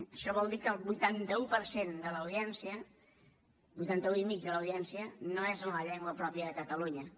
això vol dir que el vuitanta un per cent de l’audiència el vuitanta un i mig de l’audiència no és en la llengua pròpia de catalunya